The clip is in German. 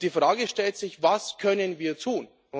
Die Frage stellt sich Was können wir tun?